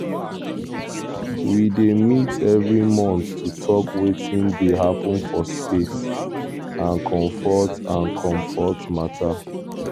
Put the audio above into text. we dey meet every month to talk wetin dey happen for space and comfort and comfort matter.